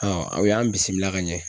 aw y'an bisimila ka ɲɛ.